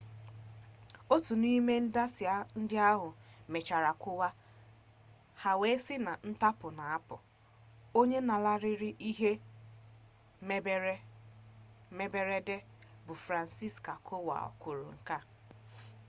otu n'ime ndasị ndị ahụ mechara kụwaa ha wee si na ntapu na-apụ onye lanarịrị ihe mberede bụ franciszek kowal kwuru nke a